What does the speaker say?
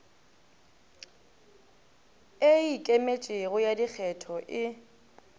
e ikemetšego ya dikgetho e